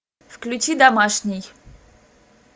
включи домашний